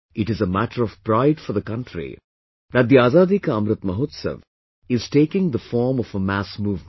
It is a matter of pride for the country that the Azadi Ka Amrit Mahotsav is taking the form of a mass movement